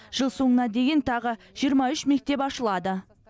жыл соңына дейін тағы жиырма үш мектеп ашылады